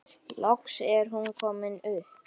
Loks er hún komin upp.